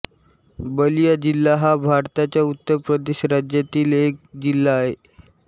बलिया जिल्हा हा भारताच्या उत्तर प्रदेश राज्यातील एक जिल्हा आहे